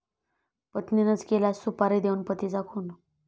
पत्नीनंच केला सुपारी देऊन पतीचा खून